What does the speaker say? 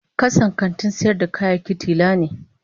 Kasan kantin sayar da kayaki tila ne.